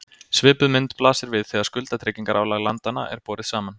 Svipuð mynd blasir við þegar skuldatryggingarálag landanna er borið saman.